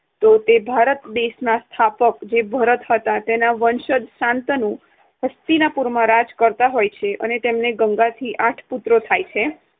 તો તે ભારત દેશના સ્થાપક ભરતના વંશજ શાંતનુ હસ્તિનાપુરમાં રાજ કરતા હોય છે અને તેમને ગંગાથી આઠ પુત્રો થાય છે.